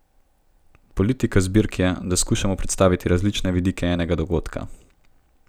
Politika zbirk je, da skušamo predstaviti različne vidike enega dogodka.